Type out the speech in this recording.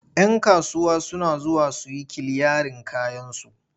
Yan kasuwa suna zuwa su yi kiliyarin kayansu.